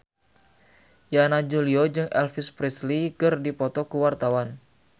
Yana Julio jeung Elvis Presley keur dipoto ku wartawan